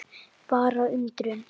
Bara undrun.